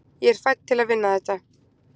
ég er fædd til að vinna þetta